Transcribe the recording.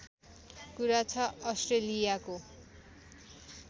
कुरा छ अस्ट्रेलियाको